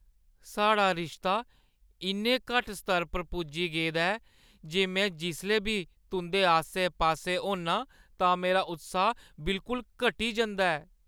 साढ़ा रिश्ता इन्ने घट्ट स्तर पर पुज्जी गेदा ऐ जे में जिसलै बी तुंʼदे आस्सै-पास्सै होन्नां तां मेरा उत्साह बिलकुल घटी जंदा ऐ।